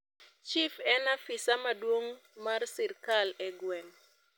chif en afisa maduong mar sirkal e gweng